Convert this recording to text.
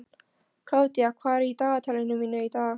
Kládía, hvað er í dagatalinu mínu í dag?